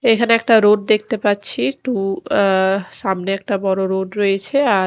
এখানে একটা রোড দেখতে পাচ্ছি টু অ্যা সামনে একটা বড় রোড রয়েছে আর --